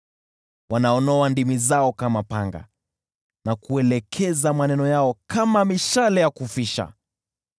Wananoa ndimi zao kama panga na kuelekeza maneno yao kama mishale ya kufisha.